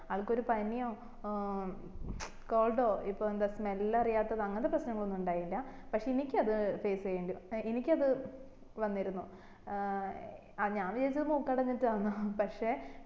ആൾക്ക് ഒരു പനിയോ ഏർ ച് cold ഓ ഇപ്പൊ എന്താ smell അറിയാത്തത് അങ്ങനത്തെ പ്രശ്നങ്ങൾ ഒന്നും ഇണ്ടായില്ല പക്ഷെ എനിക്ക് അത് face ചെയ്യേണ്ടി എനിക്കത് വന്നിരുന്നു ഏർ ഞാൻ വിചാരിച്ചു മൂക്കടഞ്ഞിട്ടന്നാ